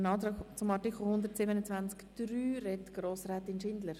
Zum Antrag zu Artikel 127 Absatz 3 spricht Grossrätin Schindler.